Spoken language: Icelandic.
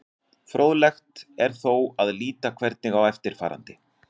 Fróðlegt er þó að líta einnig á eftirfarandi.